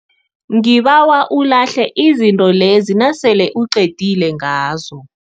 Ngibawa ulahle izinto lezi nasele uqedile ngazo.